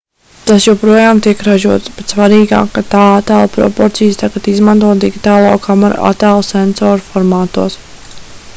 tas joprojām tiek ražots bet svarīgāk ka tā attēla proporcijas tagad izmanto digitālo kameru attēlu sensoru formātos